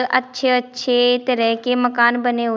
अच्छे अच्छे तरह के मकान बने हुए--